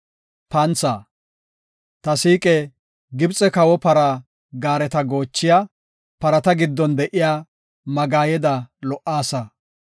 Ta siiqe! Gibxe kawo para gaareta goochiya, parata giddon de7iya magaayeda lo77aasa.